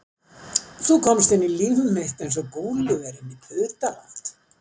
Þú komst inn í líf mitt eins og Gúlíver inn í Putaland